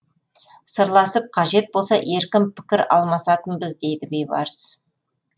сырласып қажет болса еркін пікір алмасатынбыз дейді бейбарыс